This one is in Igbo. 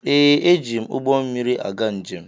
Ee, eji m ụgbọ mmiri aga njem.